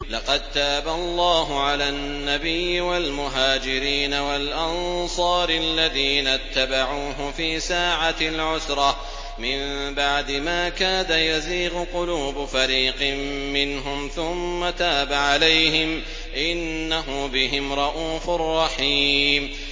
لَّقَد تَّابَ اللَّهُ عَلَى النَّبِيِّ وَالْمُهَاجِرِينَ وَالْأَنصَارِ الَّذِينَ اتَّبَعُوهُ فِي سَاعَةِ الْعُسْرَةِ مِن بَعْدِ مَا كَادَ يَزِيغُ قُلُوبُ فَرِيقٍ مِّنْهُمْ ثُمَّ تَابَ عَلَيْهِمْ ۚ إِنَّهُ بِهِمْ رَءُوفٌ رَّحِيمٌ